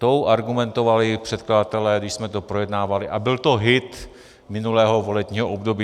Tou argumentovali předkladatelé, když jsme to projednávali, a byl to hit minulého volebního období.